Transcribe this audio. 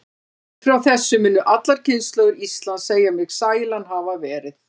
Upp frá þessu munu allar kynslóðir Íslands segja mig sælan hafa verið.